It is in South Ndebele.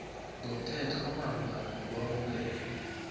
ngomthetho omalungana nokwamukelwa